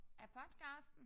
Af podcasten?